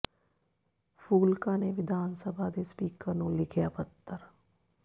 ਫੂਲਕਾ ਨੇ ਵਿਧਾਨ ਸਭਾ ਦੇ ਸਪੀਕਰ ਨੂੰ ਲਿਖਿਆ ਪੱਤਰ